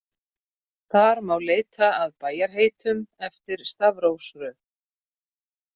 Þar má leita að bæjarheitum eftir stafrófsröð.